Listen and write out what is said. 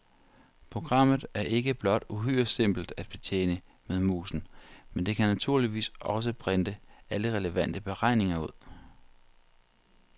Programmet er ikke blot uhyre simpelt at betjene med musen, men det kan naturligvis også printe alle relevante beregninger ud.